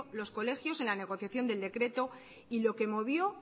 los colegios en la negociación del decreto y lo que movió